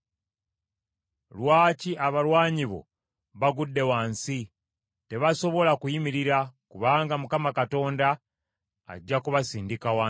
Lwaki abalwanyi bo bagudde wansi? Tebasobola kuyimirira, kubanga Mukama Katonda ajja kubasindika wansi.